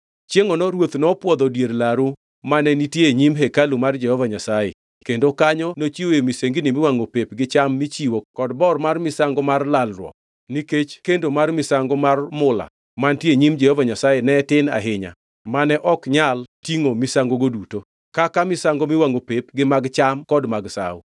Chiengʼono ruoth nopwodho dier laru mane nitie e nyim hekalu mar Jehova Nyasaye kendo kanyo nochiwoe misengini miwangʼo pep gi cham michiwo kod bor misango mar lalruok, nikech kendo mar misango mar mula mantie e nyim Jehova Nyasaye ne tin ahinya mane ok nyal tingʼo misangogo duto, kaka misango miwangʼo pep gi mag cham kod mag sawo.